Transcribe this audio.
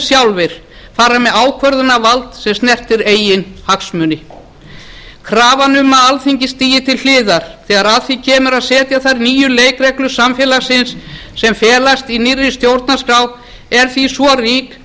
sjálfir fara með ákvörðunarvald sem snertir eigin hagsmuni krafan um að alþingi stigi til hliðar þegar að því kemur að setja þær nýju leikreglur samfélagsins sem felast í nýrri stjórnarskrá er því svo rík